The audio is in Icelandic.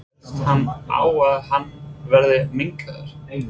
Fellst hann á að hann verði minnkaður?